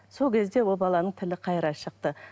сол кезде ол баланың тілі қайыра шықты